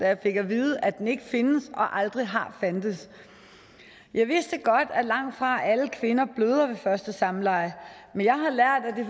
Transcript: jeg fik at vide at den ikke findes og aldrig har fandtes jeg vidste godt at langtfra alle kvinder bløder ved første samleje men